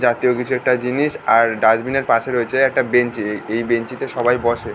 জাতীয় কিছু একটা জিনিস আর ডাস্টবিন এর পাশে রয়েছে একটা বেঞ্চি এ এই বেঞ্চি তে সবাই বসে।